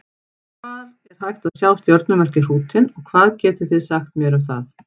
Hvar er hægt að sjá stjörnumerkið Hrútinn og hvað getið þið sagt mér um það?